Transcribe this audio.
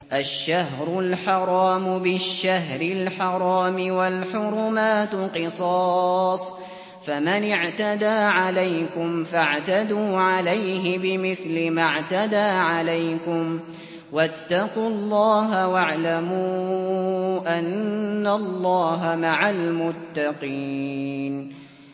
الشَّهْرُ الْحَرَامُ بِالشَّهْرِ الْحَرَامِ وَالْحُرُمَاتُ قِصَاصٌ ۚ فَمَنِ اعْتَدَىٰ عَلَيْكُمْ فَاعْتَدُوا عَلَيْهِ بِمِثْلِ مَا اعْتَدَىٰ عَلَيْكُمْ ۚ وَاتَّقُوا اللَّهَ وَاعْلَمُوا أَنَّ اللَّهَ مَعَ الْمُتَّقِينَ